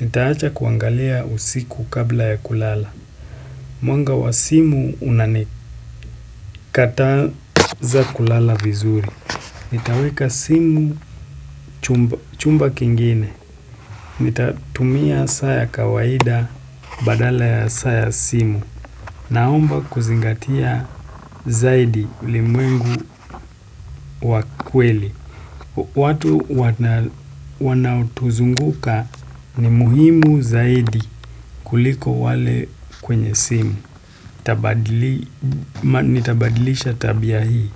Nitaacha kuangalia usiku kabla ya kulala. Mwanga wa simu unanikataza kulala vizuri. Nitaweka simu chumba, chumba kingine. Nitatumia saa ya kawaida badala ya saa ya simu. Naomba kuzingatia zaidi ulimwengu wa kweli. Watu wana wanaotuzunguka ni muhimu zaidi kuliko wale kwenye simu, nitabadili nitabadilisha tabia hii.